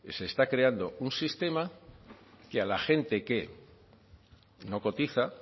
se está creando un sistema que a la gente que no cotiza